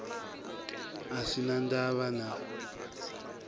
a sin a ndavha na